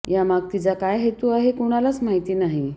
या माग तिचा काय हेतू आहे हे कुणालाच माहिती नाही